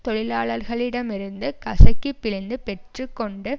தொழிலாளர்களிடமிருந்து கசக்கிபிழிந்து பெற்று கொண்டு